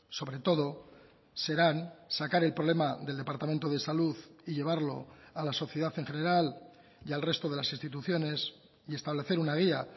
sobre todo serán sacar el problema del departamento de salud y llevarlo a la sociedad en general y al resto de las instituciones y establecer una guía